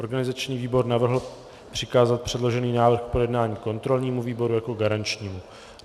Organizační výbor navrhl přikázat předložený návrh k projednání kontrolnímu výboru jako garančnímu.